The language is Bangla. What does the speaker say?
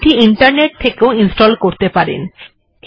আপনি এটি ইন্টারনেট থেকেও ইনস্টল্ করতে পারেন